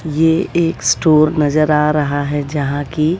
ये एक स्टोर नजर आ रहा है जहां की--